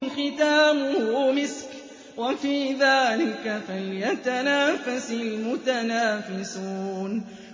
خِتَامُهُ مِسْكٌ ۚ وَفِي ذَٰلِكَ فَلْيَتَنَافَسِ الْمُتَنَافِسُونَ